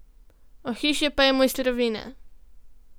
Ohišje pa je mojstrovina.